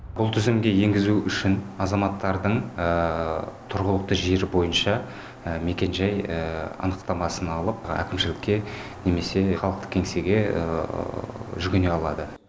бұл тізімге енгізу үшін азаматтардың тұрғылықты жері бойынша мекенжай анықтамасын алып әкімшілікке немесе халықтық кеңсеге жүгіне алады